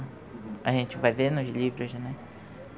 A gente vai vendo os livros, né?